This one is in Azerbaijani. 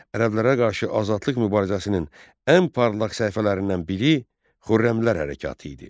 Ərəblərə qarşı azadlıq mübarizəsinin ən parlaq səhifələrindən biri Xürrəmilər Hərəkatı idi.